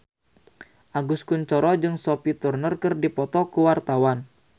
Agus Kuncoro jeung Sophie Turner keur dipoto ku wartawan